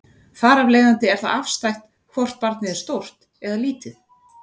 Þar af leiðandi er það afstætt hvort barnið er stórt eða lítið.